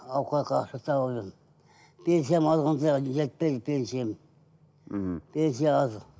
ауқатқа ақша тауып жүрмін пенсиям алғанда жетпейді пенсиям мхм пенсия аз